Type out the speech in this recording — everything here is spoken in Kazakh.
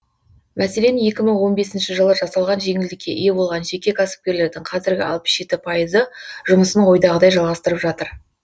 мәселен екі мың он бесінші жылы жасалған жеңілдікке ие болған жеке кәсіпкерлердің қазір алпыс жеті пайызы жұмысын ойдағыдай жалғастырып жатыр